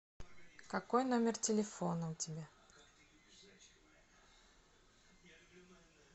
какой номер телефона у тебя